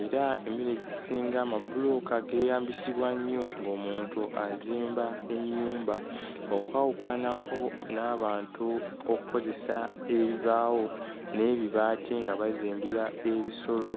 era emirundi egisinga amabulooka geeyambisibwa nnyo ng'omuntu azimba ennyumba okwawukanako n'abantu okkozesa ebibaawo n'ebibaati nga bazimbira ebisolo.